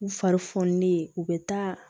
U fari fonilen u bɛ taa